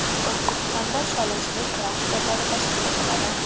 O‘zbekistonda sholichilik klasterlari tashkil etiladi.